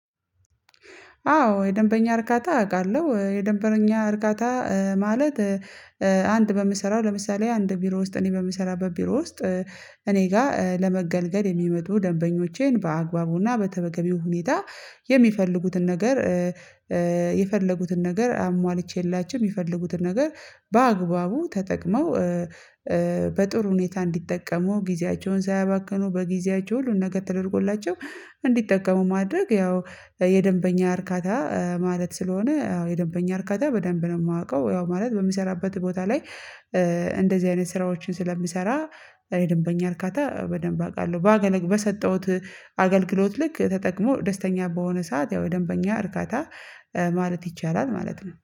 አዎ የደንበኛ እርካታ አውቃለሁ የደንበኛ እርካታ ማለት አንድ በምሰራው ለምሳሌ አንድ ቢሮ ውስጥ እኔ በምሰራበት ቢሮ ውስጥ እኔ ጋር ለመገልገል የሚመጡ ደንበኞቼን በአግባቡና በተበገቢው ሁኔታ የሚፈልጉትን ነገር። የፈለጉትን ነገር አሟልቼላቸው የሚፈልጉትን ነገር በአግባቡ ተጠቅመው በጥሩ ሁኔታ እንዲጠቀሙ ጊዜያቸውን ሳያባክኑ በጊዜያቸው ሁሉን ነገ ተደርጎላቸው እንዲጠቀሙ ማድረግ ያው የደንበኛ እርካታ ማለት ስለሆነ አዎ የደንበኛ እርካታ በደንብ ነው የማውቀው ያው ማለት በምሰራበት ቦታ ላይ። አይነት ስራዎችን ስለምሰራ የደንበኛ እርካታ በደንብ አውቃለሁ። በሰጠሁት ልክ ተጠቅሞ ደስተኛ በሆነ ሰዓት ያው የደንበኛ እርካታ ማለት ይቻላል ማለት ነው